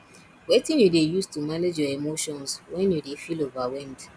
wetin you dey use to manage your emotions when you dey feel overwhelmed